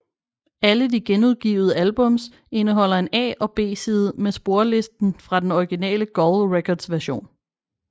Alle de genudgivet albums indeholder en A og B side med sporlisten fra den originale Gull Records version